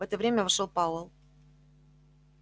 в это время вошёл пауэлл